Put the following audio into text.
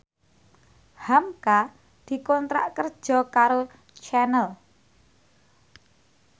hamka dikontrak kerja karo Channel